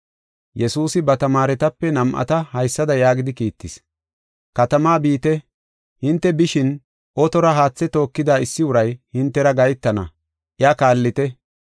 Yesuusi ba tamaaretape nam7ata haysada yaagidi kiittis: “Katamaa biite; hinte bishin, otora haathe tookida issi uray hintera gahetana; iya kaallite.